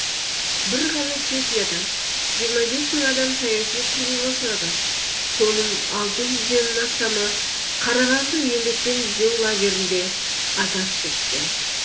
бір ғана чехиядан жиырма бес мың адам саяси қуғынға ұшырады соның алты жүзден астамы қарағанды еңбекпен түзеу лагерінде азап шеккен